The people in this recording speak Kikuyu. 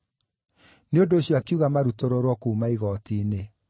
Nĩ ũndũ ũcio akiuga marutũrũrwo kuuma igooti-inĩ.